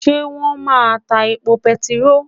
Ṣé wón máa ta epo bẹntiró?